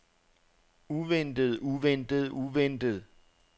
uventet uventet uventet